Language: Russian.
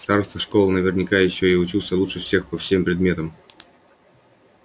староста школы наверняка ещё и учился лучше всех по всем предметам